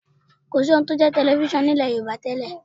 Kò sí ohun tí ó ń jẹ́ tẹlifísàn ní ilẹ̀ Yorùbá tẹ́lẹ̀